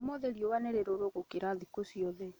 Ũmũthĩ riũa nĩ rĩrũrũgũkĩra thikũciothe